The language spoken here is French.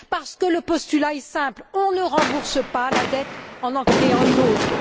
Parce que le postulat est simple on ne rembourse pas la dette en en créant une autre.